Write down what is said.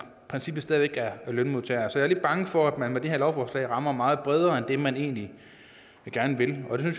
i princippet stadig væk er lønmodtager så jeg er lidt bange for at man med det her lovforslag rammer meget bredere end det man egentlig gerne vil og det